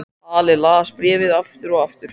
Halli las bréfið aftur og aftur.